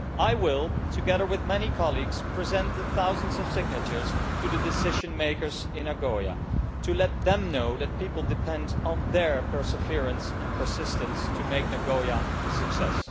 I will, together with many colleagues, present the thousands of signatures to the decision makers in Nagoya, to let them know that people depend on their perseverance and persistence to make Nagoya a success.